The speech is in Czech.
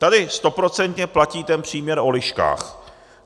Tady stoprocentně platí ten příměr o liškách.